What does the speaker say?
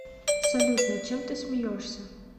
салют над чем ты смеешься